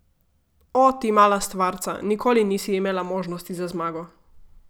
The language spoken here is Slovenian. O, ti mala stvarca, nikoli nisi imela možnosti za zmago.